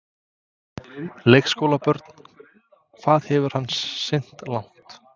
Leikskólabörn: Hvað hefur hann synt langt?